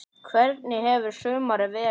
Hvernig hefur sumarið verið?